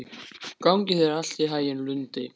Gangi þér allt í haginn, Lundi.